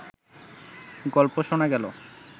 গল্প শোনা গেলো